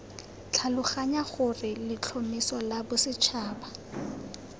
tlhaloganya gore letlhomeso la bosetšhaba